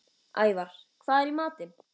Ævar, hvað er í matinn?